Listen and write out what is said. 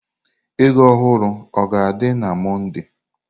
Ego ohuru o ga-adị na Mọnde?